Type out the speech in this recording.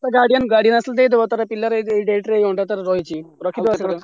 ତା guardian ତା guardian ଆସିଲେ ଦେଇଦବ ପିଲାର ଏଇଟା ।